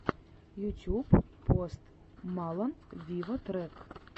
ютюб пост малон виво трек